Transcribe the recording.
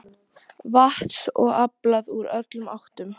Vatns var aflað úr öllum áttum.